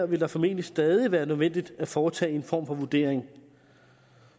det her formentlig stadig vil være nødvendigt at foretage en form for vurdering